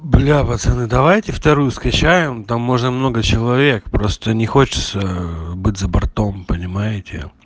бля пацаны давайте вторую скачаем там можно много человек просто не хочется ээ быть за бортом понимаете